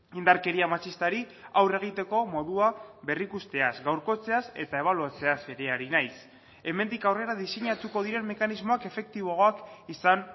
indarkeria matxistari aurre egiteko modua berrikusteaz gaurkotzeaz eta ebaluatzeaz ere ari naiz hemendik aurrera diseinatuko diren mekanismoak efektiboagoak izan